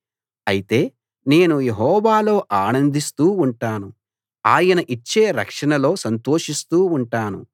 అయితే నేను యెహోవాలో ఆనందిస్తూ ఉంటాను ఆయన ఇచ్చే రక్షణలో సంతోషిస్తూ ఉంటాను